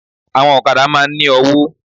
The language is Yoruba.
Àwọn òkadá máa n ní ọwó